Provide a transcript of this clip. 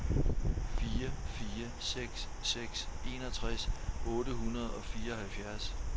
fire fire seks seks enogtres otte hundrede og fireoghalvfjerds